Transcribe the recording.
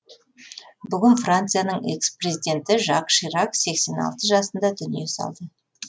бүгін францияның экс президенті жак ширак сексен алты жасында дүние салды